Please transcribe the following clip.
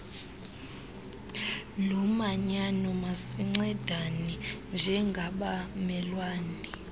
lomanyano masincedane njengabamelwane